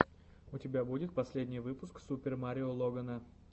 у тебя будет последний выпуск супер марио логана